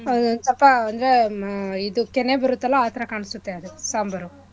ಆ ಸ್ವಲ್ಪ ಅಂದ್ರೆ ಆಹ್ ಇದು ಕೆನೆ ಬರುತ್ತಲ್ಲ ಆಥರ ಕಣ್ಸೂತ್ತೆ ಅದು ಸಾಂಬಾರು.